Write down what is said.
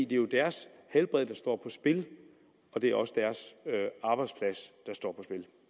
det er jo deres helbred der står på spil og det er også deres arbejdsplads der står